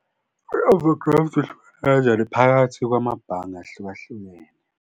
I-over graft ihluke kanjani phakathi kwamabhange ahlukahlukene.